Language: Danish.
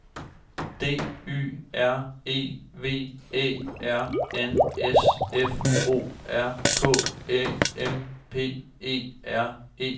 D Y R E V Æ R N S F O R K Æ M P E R E